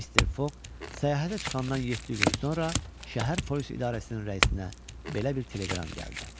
Mister Fog səyahətə çıxandan yeddi gün sonra şəhər polis idarəsinin rəisinə belə bir teleqram gəldi.